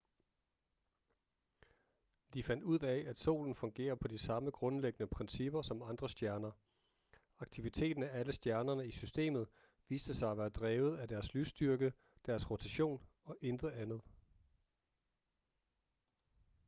de fandt ud af at solen fungerer på de samme grundlæggende principper som andre stjerner aktiviteten af alle stjernerne i systemet viste sig at være drevet af deres lysstyrke deres rotation og intet andet